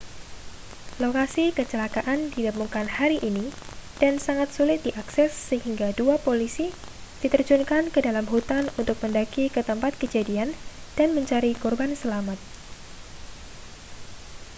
lokasi kecelakaan ditemukan hari ini dan sangat sulit diakses sehingga dua polisi diterjunkan ke dalam hutan untuk mendaki ke tempat kejadian dan mencari korban selamat